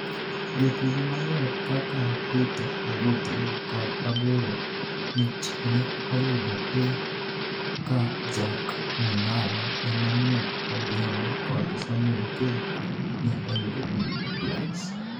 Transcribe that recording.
Jotugo maber kaka Peter Ogoti kod Agoro Mitch ne oyudo A- ka Jack Mungala, Emmanuel Odhiambo kod Samwel Oketch ne oyudo B+.